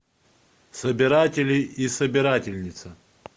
собиратели и собирательница